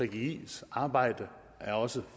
gggis arbejde er også